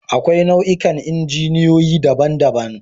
Akwai nau'ikan injiniyoyi daban-daban